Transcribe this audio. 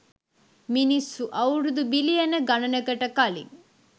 මිනිස්සු අවුරුදු බිලියන ගණනකට කලින්